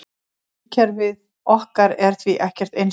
Sólkerfið okkar er því ekkert einsdæmi.